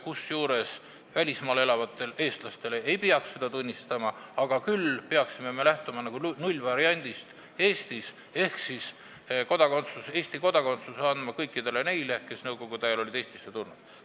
Kusjuures välismaal elavate eestlaste Eesti kodakondsust me ei peaks tunnistama, küll aga peaksime me lähtuma nullvariandist ehk andma Eesti kodakondsuse kõikidele neile, kes nõukogude ajal olid Eestisse tulnud.